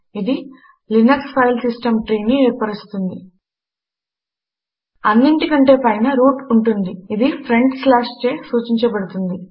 ఇది Linux file system tree ని ఏర్పర్చుతుంది అన్నింటి కంటే పైన రూట్ ఉంటుంది ఇది ఫ్రంట్ స్లాష్ చే సూచించబడుతుంది